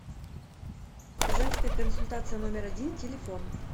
женская консультация номер один телефон